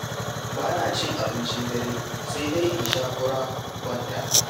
Ba na cin abincin dare, sai dai in sha fura in kwanta.